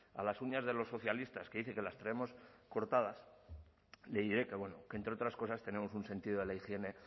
a las uñas de los socialistas que dice que las traemos cortadas le diré que bueno que entre otras cosas tenemos un sentido de la higiene